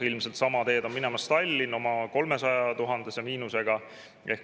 Ilmselt sama teed on minemas Tallinn oma 300 000-se miinusega.